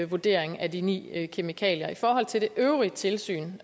vurdering af de ni kemikalier i forhold til det øvrige tilsyn